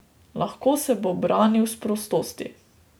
Lahko se bo branil s prostosti.